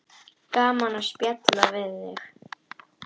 Gaman að spjalla við þig.